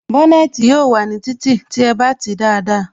Bónètī yóò wà ní títì tí ẹ bá tìí dáadáa